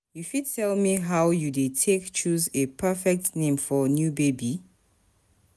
you fit tell me how you dey take choose a perfect name for a new baby?